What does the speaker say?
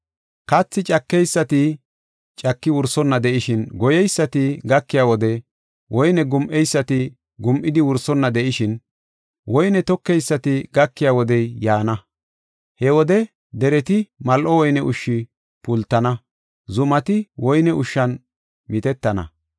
“Kathi cakeysati caki wursonna de7ishin, goyeysati gakiya wodey, woyne gum7eysati gum7idi wursonna de7ishin, woyne tokeysati gakiya wodey yaana. He wode dereti mal7o woyne ushshi pultana; zumati woyne ushshan mitettana.